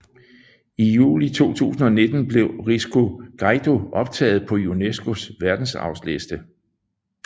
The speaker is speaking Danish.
I juli 2019 blev Risco Caído optaget på UNESCOs verdensarvsliste